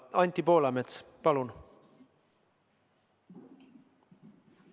Anti Poolamets, palun!